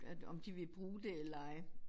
Om de vil bruge det eller ej